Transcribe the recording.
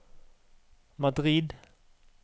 Madrid